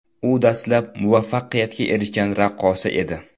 U dastlab muvaffaqiyatga erishgan raqqosa edi.